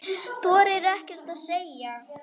Þorir ekkert að segja.